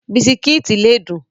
Bisikíìtì lè dùn.